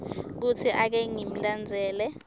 kutsi ake ngimlandzele